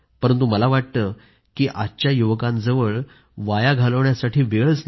परंतु मला वाटतं की आजच्या युवकांजवळ वाया घालवण्यासाठी वेळच नाही